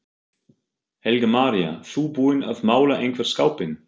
Helga María: Þú búinn að mála einhvern skápinn?